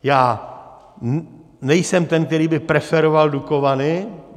Já nejsem ten, který by preferoval Dukovany.